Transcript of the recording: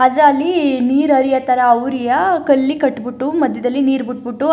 ಆದ್ರ ಅಲ್ಲಿ ನೀರ್ ಹರಿಯೋತರ ಔರಿಯ ಕಲ್ಲಿ ಕಟ್ಬುಟ್ಟು ಮಧ್ಯದಲಿ ನೀರ್ ಬಿಟ್ಬುಟು.